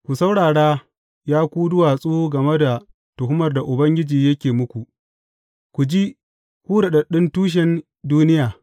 Ku saurara, ya ku duwatsu game da tuhumar da Ubangiji yake muku, ku ji, ku daɗaɗɗun tushin duniya.